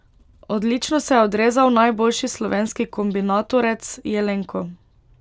Odlično se je odrezal najboljši slovenski kombinatorec Jelenko.